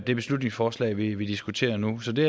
det beslutningsforslag vi vi diskuterer nu så det